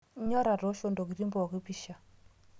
inyor atoosho ntokitin pooki pisha